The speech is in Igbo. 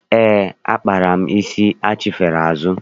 Eé, akpaala m isi achifere azụ.